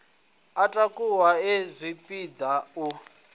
a takuwa e zwipidi a